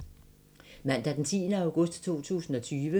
Mandag d. 10. august 2020